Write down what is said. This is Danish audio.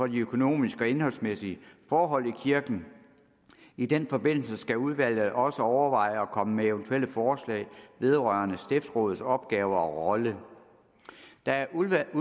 de økonomiske og indholdsmæssige forhold i kirken i den forbindelse skal udvalget også overveje og komme med eventuelle forslag vedrørende stiftsrådets opgaver og rolle da udvalget